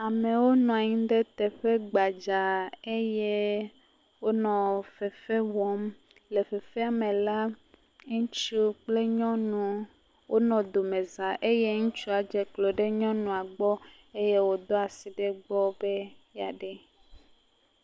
Amewo nɔ anyi ɖe teƒe gbadzaa eye wonɔ fefe wɔm. Le fefea me la ŋutsu kple nyɔnu wonɔ domezã eye ŋutsua dze klo ɖe nyɔnua gbɔ eye wòdo asi ɖe egbɔ be yea ɖee.